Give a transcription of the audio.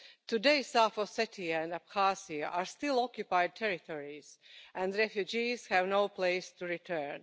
Today South Ossetia and Abkhazia are still occupied territories and refugees have no place to return.